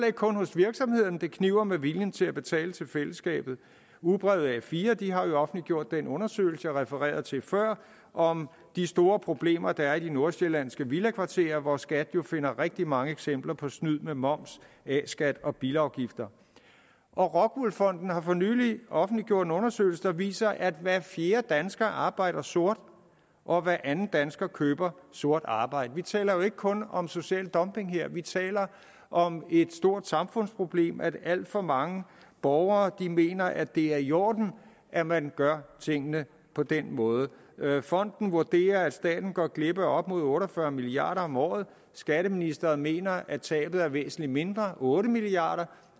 ikke kun hos virksomhederne det kniber med viljen til at betale til fællesskabet ugebrevet a4 har offentliggjort den undersøgelse jeg refererede til før om de store problemer der er i de nordsjællandske villakvarterer hvor skat jo finder rigtig mange eksempler på snyd med moms a skat og bilafgifter rockwool fonden har for nylig offentliggjort en undersøgelse der viser at hver fjerde dansker arbejder sort og at hver anden dansker køber sort arbejde vi taler jo ikke kun om social dumping her vi taler om et stort samfundsproblem nemlig at alt for mange borgere mener at det er i orden at man gør tingene på den måde fonden vurderer at staten går glip af op imod otte og fyrre milliard kroner om året skatteministeren mener at tabet er væsentlig mindre otte milliard